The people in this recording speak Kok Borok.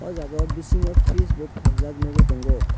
o jaga bisingo freeze bo paljak nogoi tango.